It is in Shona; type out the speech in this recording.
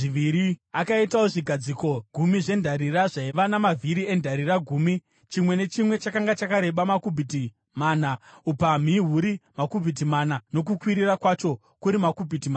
Akaitawo zvigadziko gumi zvendarira zvaiva namavhiri endarira gumi; chimwe nechimwe chakanga chakareba makubhiti mana , upamhi huri makubhiti mana nokukwirira kwacho kuri makubhiti matatu .